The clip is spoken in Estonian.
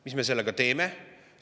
Mis me sellega teeme?